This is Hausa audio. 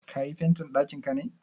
Ka yi fentin ɗakinka ne?